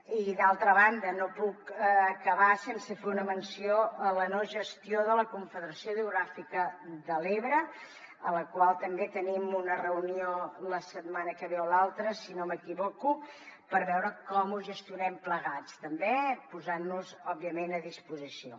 i d’altra banda no puc acabar sense fer una menció a la no gestió de la confederació hidrogràfica de l’ebre en la qual també tenim una reunió la setmana que ve o l’altra si no m’equivoco per veure com ho gestionem plegats també posant nos òbviament a disposició